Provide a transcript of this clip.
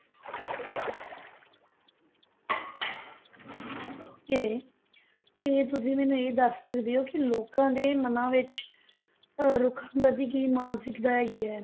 Okay ਤੇ ਤੁਸੀਂ ਮੈਨੂੰ ਇਹ ਦੱਸ ਸਕਦੇੇ ਹੋ ਕਿ ਲੋਕਾਂ ਦੇ ਮਨਾਂ ਵਿੱਚ ਅਹ ਰੁੱਖਾਂ ਪ੍ਰਤੀ ਕੀ ਮਾਨਸਿਕਤਾ ਹੈਗੀ ਹੈ?